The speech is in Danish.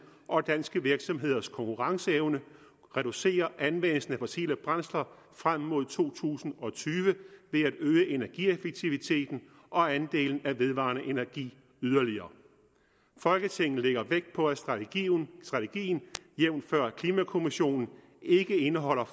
og danske virksomheders konkurrenceevne reducerer anvendelsen af fossile brændsler frem mod to tusind og tyve ved at øge energieffektiviteten og andelen af vedvarende energi yderligere folketinget lægger vægt på at strategien jævnfør klimakommissionen ikke indeholder